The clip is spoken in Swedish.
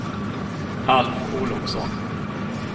Alf Olovsson